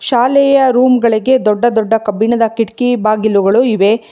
ಶಾಲೆಯ ರೂಮ್ಗಳಿಗೆ ದೊಡ್ಡ ದೊಡ್ಡ ಕಬ್ಬಿಣದ ಕಿಟಕಿ ಬಾಗಿಲುಗಳು ಇವೆ.